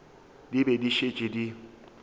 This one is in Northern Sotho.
di be di šetše di